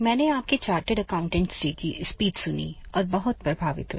मैंने आपकी chartered accountants day की स्पीच सुनी और बहुत प्रभावित हुई